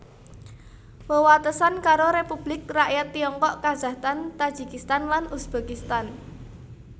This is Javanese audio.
Wewatesan karo Republik Rakyat Tiongkok Kazakhstan Tajikistan lan Uzbekistan